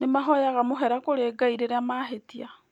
Nĩ mahoyaga mũhera kũrĩ Ngai rĩrĩa mahĩtia.